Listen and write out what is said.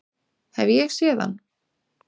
Hef ég séð hann?